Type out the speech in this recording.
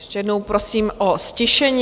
Ještě jednou prosím o ztišení.